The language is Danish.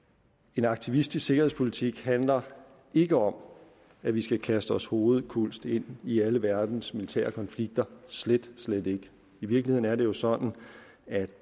en aktivistisk sikkerhedspolitik handler ikke om at vi skal kaste os hovedkulds ind i alle verdens militære konflikter slet slet ikke i virkeligheden er det jo sådan at